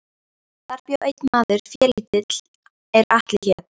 Þar bjó einn maður félítill er Atli hét.